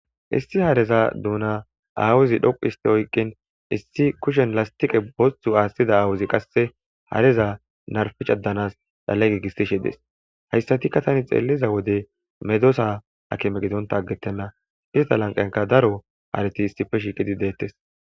Issi hareza duuna aawuzi dhoqihiste oyqqin issi kushen lastiqe bosthu aathtida aawuzi qasse hareza narficadanas dhale giigistishe dees hayssatikka tani xeelliza wode medosa akime gidonta aggettenna ista lanqanka daro harati issife shiiqidi deettes.